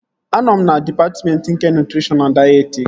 Anọ m na dịpatmentị nke nutrishọn na dayetetiks